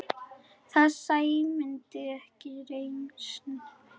Það sæmdi ekki reisn þinni.